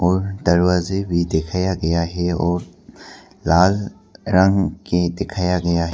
और दरवाजे भी दिखाया गया है और लाल रंग के दिखाया गया है।